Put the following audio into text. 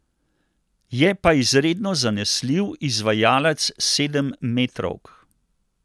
Je pa izredno zanesljiv izvajalec sedemmetrovk.